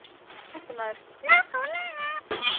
Fréttamaður: Nákvæmlega?